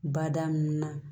Bada nunnu na